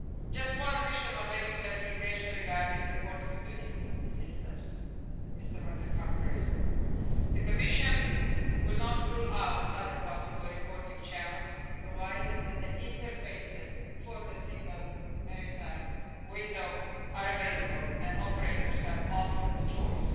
Just one additional clarification regarding the port community systems that Mr van de Camp raised the Commission will not rule out other possible reporting channels, provided that the interfaces for the Single Maritime Window are available and operators are offered the choice.